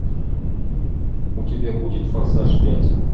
у тебя будет форсаж пять